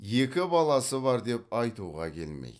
екі баласы бар деп айтуға келмейді